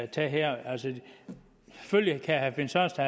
det her altså selvfølgelig kan herre finn sørensen